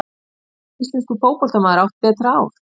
Hefur einhver íslenskur fótboltamaður átt betra ár?